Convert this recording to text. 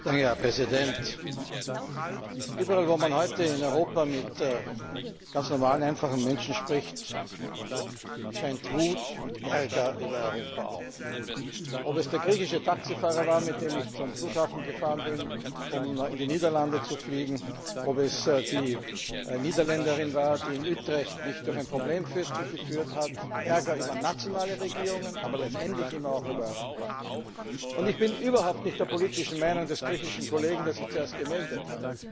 Herr Präsident! Überall, wo man heute in Europa mit ganz normalen einfachen Menschen spricht, scheint Wut und Ärger über Europa auf. Ob es der griechische Taxifahrer war, mit dem ich zum Flughafen gefahren bin, um in die Niederlande zu fliegen, ob es die Niederländerin war, die mich in Utrecht durch ein Problemviertel geführt hat Ärger über nationale Regierungen, aber letztendlich auch über Europa. Ich bin überhaupt nicht der politischen Meinung des griechischen Kollegen, der sich vorhin gemeldet hat.